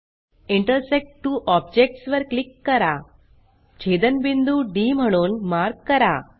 intersect two objects वर click करा छेदनबिंदू डी म्हणून मार्क करा